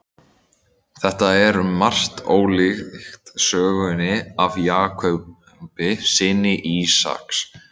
Þetta er um margt ólíkt sögunni af Jakobi, syni Ísaks.